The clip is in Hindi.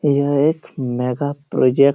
यह एक मेगा प्रोजेक्ट --